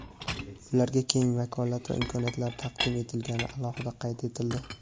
ularga keng vakolat va imkoniyatlar taqdim etilgani alohida qayd etildi.